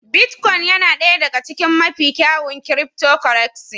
Bitcoin yana ɗaya daga cikin mafi kyawun cryptocurrencies.